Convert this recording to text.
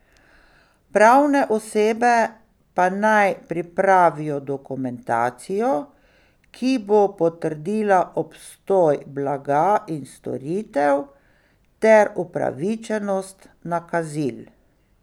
Pravne osebe pa naj pripravijo dokumentacijo, ki bo potrdila obstoj blaga in storitev ter upravičenost nakazil.